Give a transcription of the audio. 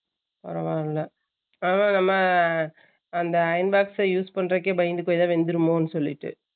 பரவால silent ஆனா அந்த iron box எ use பண்றதுக்கே பயந்துகுவேன் அதும் வந்துருமொண்டு